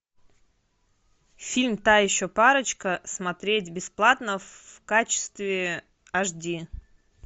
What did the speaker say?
фильм та еще парочка смотреть бесплатно в качестве аш ди